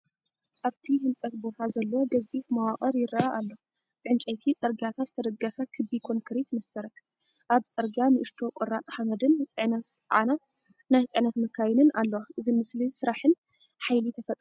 ኣብቲ ህንፀት ቦታ ዘሎ ገዚፍ መዋቕር ይረአ ኣሎ፤ ብዕንጨይቲ ጽርግያታት ዝተደገፈ ክቢ ኮንክሪት መሰረት። ኣብ ጽርግያ ንእሽቶ ቁራጽ ሓመድን ጽዕነት ዝጸዓና ናይ ጽዕነት መካይንን ኣለዋ። እዚ ምስሊ ስራሕን ሓይሊ ተፈጥሮን እዩ።